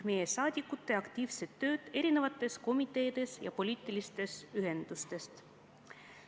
Meie saadikud teevad aktiivset tööd erinevates komiteedes ja poliitilistes ühendustes.